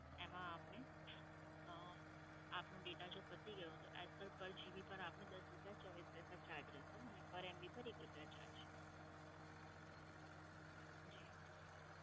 એમાં આપને અં આપનો data જો પતી ગયો તો extra per GB પર આપને દસ રૂપિયા ચોવીસ પૈસા charge રહેશે અને per MB પર એક રૂપિયા charge જી